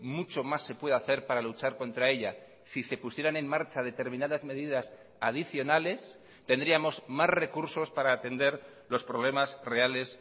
mucho más se puede hacer para luchar contra ella si se pusieran en marcha determinadas medidas adicionales tendríamos más recursos para atender los problemas reales